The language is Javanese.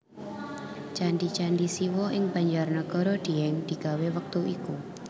Candi candi Siwa ing Banjarnagara Dieng digawé wektu iku